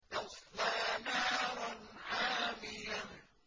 تَصْلَىٰ نَارًا حَامِيَةً